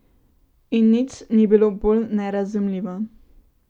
In nič ni bilo bolj nerazumljivo.